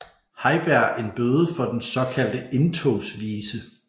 Heiberg en bøde for den såkaldte Indtogsvise